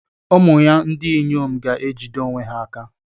Ụmụ ya ndị inyom ga-ejide onwe ha.